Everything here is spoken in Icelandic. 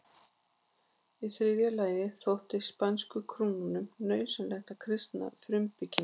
Í þriðja lagi þótti spænsku krúnunni nauðsynlegt að kristna frumbyggjana.